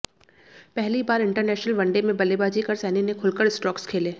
पहली बार international one day में बल्लेबाजी कर सैनी ने खुलकर स्ट्रोक्स खेले